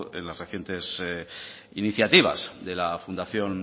en las recientes iniciativas de la fundación